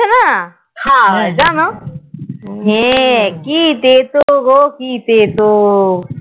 খেয়ে যেন হা কি তেতো গ কি তেতো হা হা